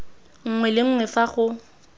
nngwe le nngwe fa go